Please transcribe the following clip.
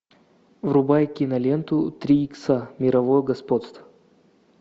врубай киноленту три икса мировое господство